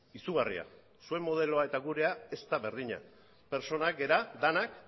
izugarria zuen modeloa eta gurea ez da berdina pertsonak gara denak